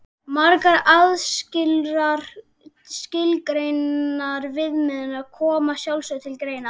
Margar aðrar skilgreindar viðmiðanir koma að sjálfsögðu til greina.